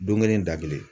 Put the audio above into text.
Don kelen da kelen